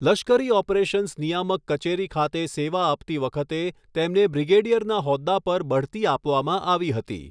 લશ્કરી ઑપરેશન્સ નિયામક કચેરી ખાતે સેવા આપતી વખતે તેમને બ્રિગેડિયરના હોદ્દા પર બઢતી આપવામાં આવી હતી.